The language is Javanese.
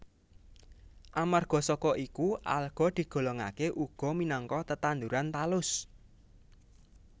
Amarga saka iku alga digolongaké uga minangka tetanduran talus